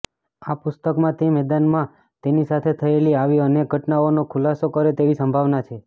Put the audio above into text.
આ પુસ્તકમાં તે મેદાનમાં તેની સાથે થયેલી આવી અનેક ઘટનાઓનો ખુલાસો કરે તેવી સંભાવના છે